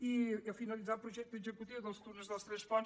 i finalitzar el projecte executiu dels túnels dels tres ponts